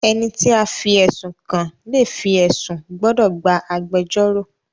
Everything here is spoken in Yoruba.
Ẹniti a fí ẹsun kàn le fi ẹsun gbódò gbà agbẹjọro.